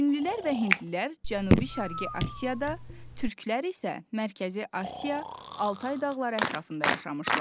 Çinlilər və hindlilər Cənubi-Şərqi Asiyada, türklər isə Mərkəzi Asiya, Altay dağları ətrafında yaşamışlar.